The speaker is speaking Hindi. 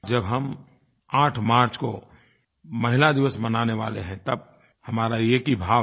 जब हम 8 मार्च को महिला दिवस मनाने वाले हैं तब हमारा एक ही भाव है